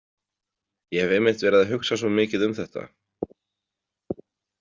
Ég hef einmitt verið að hugsa svo mikið um þetta.